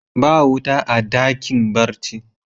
Ba wuta a dakin barci.